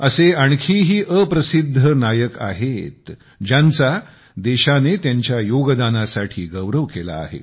असे आणखीही unsung hero आहेतज्यांचा देशाने त्यांच्या योगदानासाठी गौरव केला आहे